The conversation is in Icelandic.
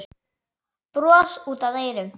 Bros út að eyrum.